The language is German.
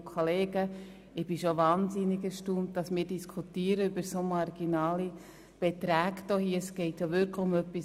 Es geht um etwas wirklich Wichtiges, nämlich um den Tourismus.